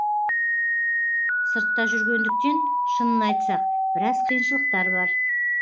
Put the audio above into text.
сыртта жүргендіктен шынын айтсақ біраз қиыншылықтар бар